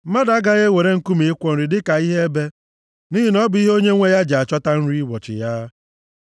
Mmadụ agaghị ewere nkume ịkwọ nri dịka ihe ebe, nʼihi na ọ bụ ihe onye nwe ya ji achọta nri ụbọchị ya.